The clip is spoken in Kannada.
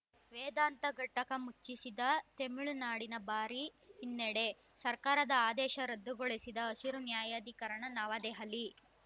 ವೇದಾಂತ ಘಟಕ ಮುಚ್ಚಿಸಿದ್ದ ತಮಿಳುನಾಡಿಗೆ ಭಾರಿ ಹಿನ್ನಡೆ ಸರ್ಕಾರದ ಆದೇಶ ರದ್ದುಗೊಳಿಸಿದ ಹಸಿರು ನ್ಯಾಯಾಧಿಕರಣ ನವದೆಹಲಿ